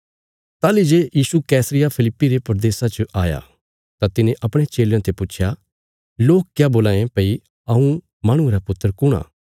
ताहली जे यीशु कैसरिया फिलिप्पी रे प्रदेशा च आया तां तिने अपणे चेलयां ते पुच्छया लोक क्या बोल्लां ये भई हऊँ माहणुये रा पुत्र कुण आ